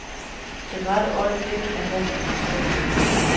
Det rette øjeblik er hastigt forsvundet.